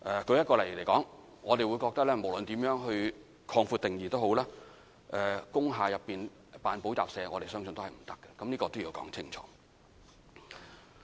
舉例來說，我們認為無論如何擴闊定義，在工廈內營辦補習社相信也是不可以的，這點需要說清楚。